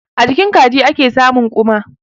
A jikin kaji ake samun ƙuma.